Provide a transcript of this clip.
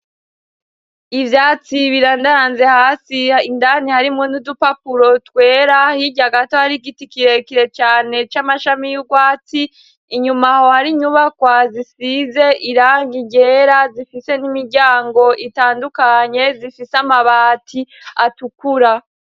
Ivyatsi birandaranze hasi indani harimwo n'udupapuro twera hirya gato har'igiti kirekire cane c'amashami y'ugwatsi, inyuma aho har'inyubakwa zisize irangi ryera zifise n'imiryango itandukanye zifise amabati atukura.